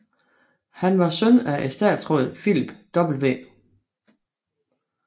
Han var søn af etatsråd Philip W